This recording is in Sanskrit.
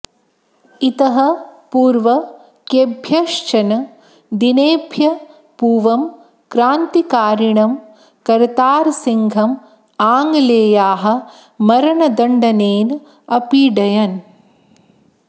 इतः पूर्वं केभ्यश्चन दिनेभ्यः पूवं क्रान्तिकारिणं करतारसिंहम् आङ्ग्लेयाः मरणदण्डनेन अपीडयन्